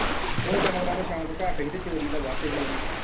ਉਹ ਜਾਨਵਰਾਂ ਦਾ ਸ਼ੋਂਕ ਘੱਟ ਹੀ ਤੇ ਚੋਰੀ ਦਾ ਵੱਧ ਹੀ ਇਹਨੂੰ।